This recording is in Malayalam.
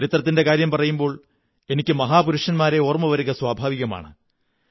ചരിത്രത്തിന്റെ കാര്യം പറയുമ്പോൾ എനിക്ക് മഹാപുരുഷന്മാരെ ഓര്മ്മ് വരിക സ്വാഭാവികമാണ്